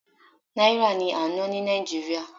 Náírà ni à ń ná ní Nàìjíríà.